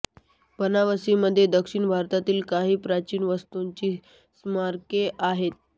बनावसीमध्ये दक्षिण भारतातील काही प्राचीन वास्तूंची स्मारके आहेत